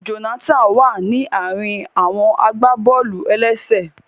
Jonathan wa ni àárín àwọn agbaboolu-elese.